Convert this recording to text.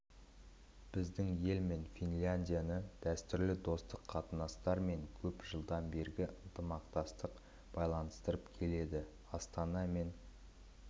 біздің ел мен финляндияны дәстүрлі достық қатынастар мен көп жылдан бергі ынтымақтастық байланыстырып келеді астана мен